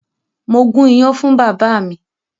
Mo gún iyán fún bàbá mi.